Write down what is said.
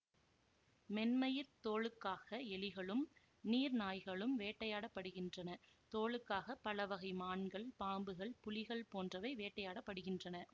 மென்மயிர் தோலுக்காக எலிகளும் நீர் நாய்களும் வேட்டையாடப் படுகின்றன தோலுக்காக பலவகை மான்கள் பாம்புகள் புலிகள் போன்றவை வேட்டையாட படுகின்றன